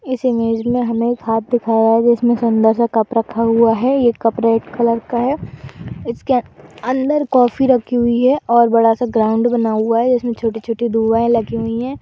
इस इमेंज में हमें हाथ दिखा रहा है जिसमें सुन्दर सा कप रखा हुआ है। ये कप रेड कलर का है। इसके अन्दर कॉफ़ी रखी हुई है और बड़ा सा ग्राउड बना हुआ है इसमें छोटी-छोटी दुआएं लगी हुई हैं।